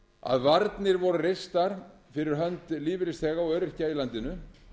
að varnir voru reistar fyrir hönd lífeyrisþega og öryrkja í landinu